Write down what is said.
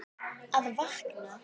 Að vakna.